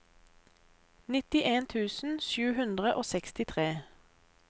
nittien tusen sju hundre og sekstitre